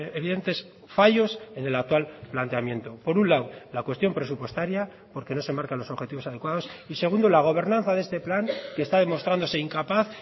evidentes fallos en el actual planteamiento por un lado la cuestión presupuestaria porque no se marca los objetivos adecuados y segundo la gobernanza de este plan que está demostrándose incapaz